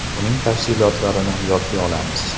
Uning tafsilotlarini yodga olamiz.